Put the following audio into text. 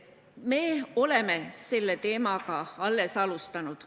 Me oleme selle teemaga alles alustanud.